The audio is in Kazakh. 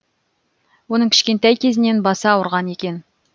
оның кішкентай кезінен басы ауырған екен